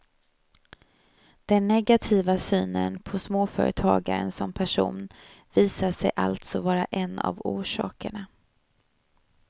Den negativa synen på småföretagaren som person visar sig allså vara en av orsakerna.